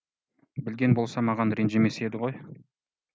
білген болса маған ренжімес еді ғой